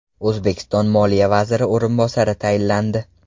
O‘zbekiston Moliya vaziri o‘rinbosari tayinlandi.